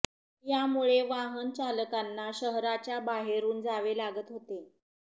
यामुळे वाहन चालकांना शहराच्या बाहेरून जावे लागत होते